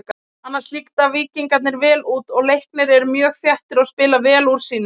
Annars líta Víkingarnir vel út og Leiknir eru mjög þéttir og spila vel úr sínu.